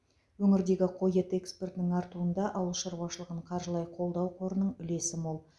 өңірдегі қой еті экспортының артуында ауыл шаруашылығын қаржылай қолдау қорының үлесі мол